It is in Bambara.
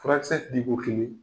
Furakisɛ diko kelen